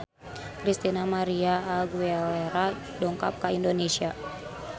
Christina María Aguilera dongkap ka Indonesia